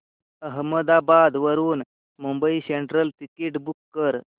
अहमदाबाद वरून Mumbai central ticket book कर